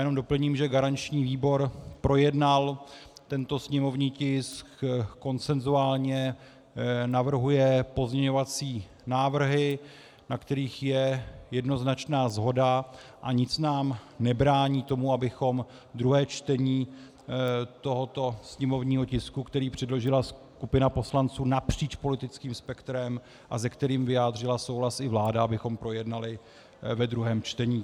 Jen doplním, že garanční výbor projednal tento sněmovní tisk konsenzuálně, navrhuje pozměňovací návrhy, na kterých je jednoznačná shoda, a nic nám nebrání tomu, abychom druhé čtení tohoto sněmovního tisku, který předložila skupina poslanců napříč politickým spektrem a se kterým vyjádřila souhlas i vláda, abychom projednali ve druhém čtení.